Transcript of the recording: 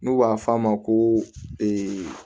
N'u b'a f'a ma ko